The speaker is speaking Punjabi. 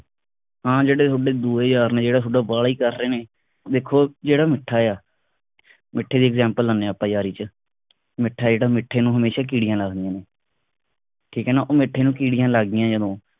ਹਾਂ ਜਿਹੜੇ ਥੋਡੇ ਦੋ ਯਾਰ ਨੇ ਜਿਹੜਾ ਤੁਹਾਡਾ ਬਾਲਾ ਹੀ ਨੇ ਵੇਖੋ ਜਿਹੜਾ ਮਿੱਠਾ ਆ ਮਿੱਠੇ ਦੀ example ਲਾਨੇ ਆਪਾ ਯਾਰੀ ਵਿਚ ਮਿੱਠਾ ਜਿਹੜਾ ਮਿੱਠੇ ਨੂੰ ਹਮੇਸ਼ਾ ਕੀੜੀਆਂ ਲੱਗਦੀਆਂ ਨੇ ਠੀਕ ਐ ਨਾ ਉਹ ਮਿੱਠੇ ਨੂੰ ਕੀੜੀਆਂ ਲੱਗਦੀਆਂ ਜਦੋਂ